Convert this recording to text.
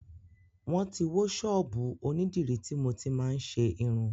Wọ́n ti wó ṣọ́ọ́bù onídìrí tí mo ti máa ń ṣe irun.